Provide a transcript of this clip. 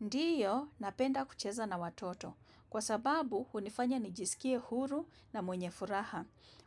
Ndiyo, napenda kucheza na watoto. Kwa sababu, hunifanya ni jisikie huru na mwenye furaha.